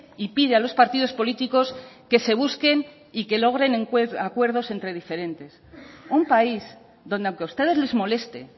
y pide a los partidos políticos que se busquen y que logren acuerdos entre diferentes un país donde aunque a ustedes les moleste